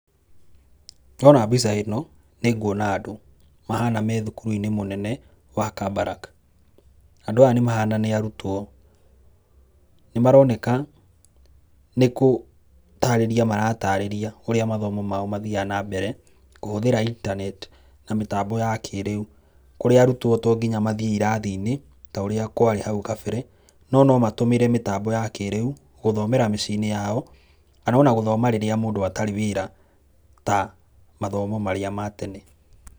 Ndona mbica ĩno nĩ nguona andũ mahana me thukuru-inĩ mũnene wa Kabarak. Andũ aya nĩ mahana nĩ arutwo. Nĩ maroneka nĩ gũtarĩria maratarĩria ũrĩa mathomo maao mathiaga nambere kũhũthĩra intaneeti na mĩtambo ya kĩrĩu. Kũrĩa arutwo to nginya mathiĩ irathinĩ ta ũrĩa kwarĩ hau kabere, no nomatũmĩre mĩtambo ya kĩriu gũthomera mĩcii-inĩ yao kana ona gũthoma rĩrĩa mũndũ atarĩ wĩra ta mathomo marĩa ma tene.